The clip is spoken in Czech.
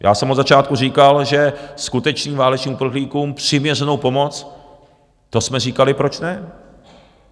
Já jsem od začátku říkal, že skutečným válečným uprchlíkům přiměřenou pomoc, to jsme říkali, proč ne.